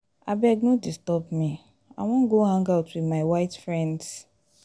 abeg no disturb me i wan go hang out with my white friends